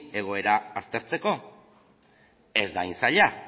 egoera aztertzeko ez da hain zaila